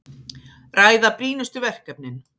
Ræða brýnustu verkefnin